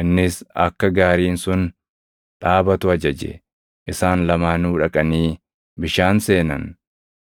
Innis akka gaariin sun dhaabatu ajaje; isaan lamaanuu dhaqanii bishaan seenan;